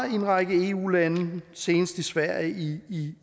en række eu lande senest i sverige i